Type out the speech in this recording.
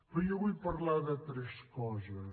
però jo vull parlar de tres coses